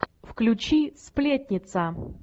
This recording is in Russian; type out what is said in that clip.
включи сплетница